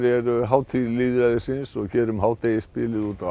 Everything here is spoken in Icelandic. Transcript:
eru hátíð lýðræðisins og hér um hádegisbilið úti á